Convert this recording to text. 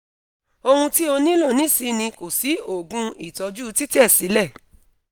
ohun ti o nilo nisin ni ko si oogun itoju titesile